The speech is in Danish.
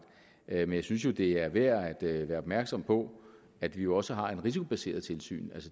men jeg synes jo det er værd at være opmærksom på at vi også har et risikobaseret tilsyn